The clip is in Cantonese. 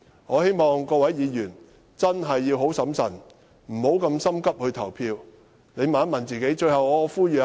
我希望各位議員要非常審慎，不要急於投票，先問問自己。